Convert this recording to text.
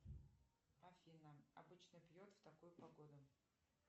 афина обычно пьет в такую погоду